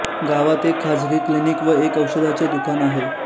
गावात एक खासगी क्लिनिक व एक औषधाचे दुकान आहे